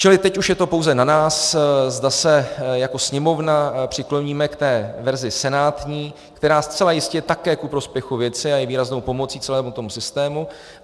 Čili teď už je to pouze na nás, zda se jako Sněmovna přikloníme k té verzi senátní, která zcela jistě je také ku prospěchu věci a je výraznou pomocí celému tomu systému.